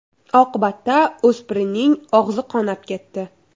Oqibatda o‘spirinning og‘zi qonab ketdi.